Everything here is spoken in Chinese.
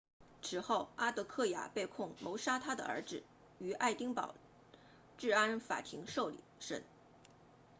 此后阿德克雅被控谋杀她的儿子于爱丁堡治安法庭受审